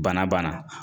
Bana banna